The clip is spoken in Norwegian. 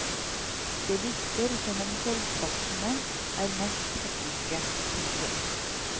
Det virker som om kveldsvaktene er mest hektiske. punktum